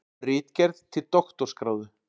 Ritgerð til doktorsgráðu.